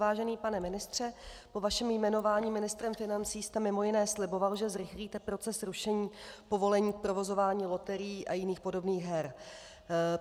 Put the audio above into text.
Vážený pane ministře, po vašem jmenování ministrem financí jste mimo jiné sliboval, že zrychlíte proces rušení povolení k provozování loterií a jiných podobných her.